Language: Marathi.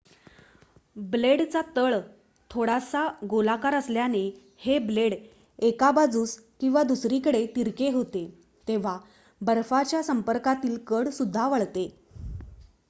ब्लेडचा तळ थोडासा गोलाकार असल्याने हे ब्लेड एका बाजूस किंवा दुसरीकडे तिरके होते तेव्हा बर्फाच्या संपर्कातील कड सुद्धा वळते